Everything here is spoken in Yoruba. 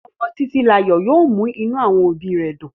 Ọmọ titilayo yóò mú inú àwọn òbí rẹ̀ dùn.